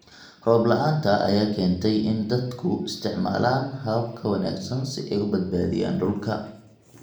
Roob la'aanta ayaa keentay in dadku isticmaalaan habab ka wanaagsan si ay u badbaadiyaan dhulka.